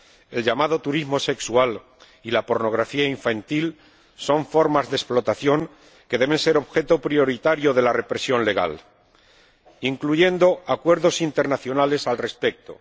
El llamado turismo sexual y la pornografía infantil son formas de explotación que deben ser objeto prioritario de la represión legal, incluyendo acuerdos internacionales al respecto.